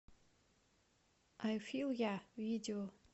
ай фил я видео